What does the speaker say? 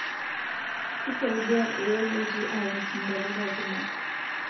Kisaidia irobotiii akes ntapuka kumok